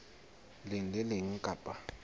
leng le le leng kapa